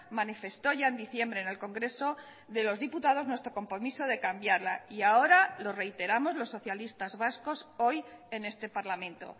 manifestó ya en diciembre en el congreso de los diputados nuestro compromiso de cambiarla y ahora lo reiteramos los socialistas vascos hoy en este parlamento